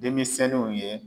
Denmisɛnninw o ye